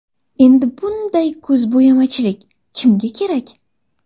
Endi bunday ko‘zbo‘yamachilik kimga kerak?!